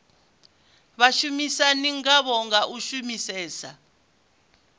vhashumisani ngavho nga u shumisesa